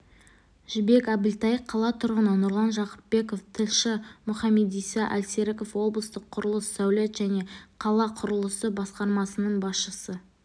жібек әбілтай қала тұрғыны нұрлан жақыпбеков тілші мұхамедиса әлсеріков облыстық құрылыс сәулет және қалақұрылысы басқармасының басшысы